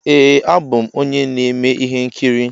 Ee a bụ m onye na-eme ihe nkiri.